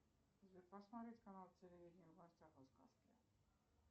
сбер посмотреть канал телевидения в гостях у сказки